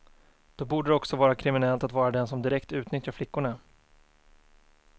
Då borde det också vara kriminellt att vara den som direkt utnyttjar flickorna.